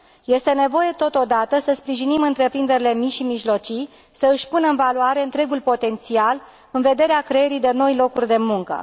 Este nevoie, totodată, să sprijinim întreprinderile mici și mijlocii să își pună în valoare întregul potențial în vederea creării de noi locuri de muncă.